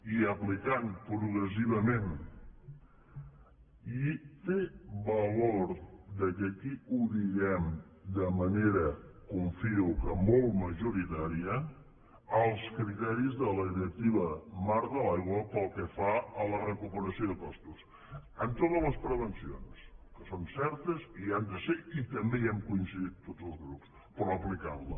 i aplicant progressivament i té valor que aquí ho diguem de manera confio que molt majoritària els criteris de la directiva marc de l’aigua pel que fa a la recuperació de costos amb totes les prevencions que són certes i hi han de ser i també hi hem coincidit tots els grups però aplicant la